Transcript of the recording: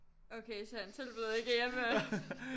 Okay så han tilbød ikke at hjælpe med